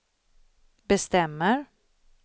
bestämmer